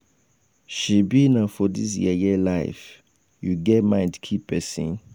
shebi na for dis yeye life you get mind kill person. um